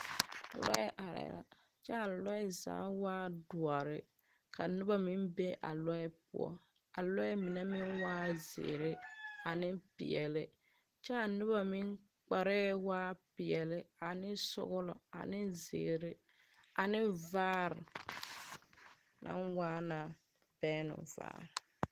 Lɔɛ arɛɛ la kyɛ a lɔɛ zaa waa doɔre ka noba meŋ be a lɔɛ poɔ a lɔɛ mine meŋ waaɛ zeere ane peɛle kyɛ a noba meŋ kparɛɛ waaɛ peɛle ane sɔglɔ ane zeere ane vaare naŋ waa na bɛŋnovaare.